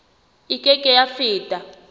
e ke ke ya feta